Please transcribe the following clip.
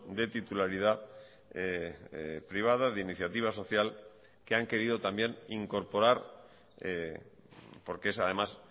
de titularidad privada de iniciativa social que han querido también incorporar porque es además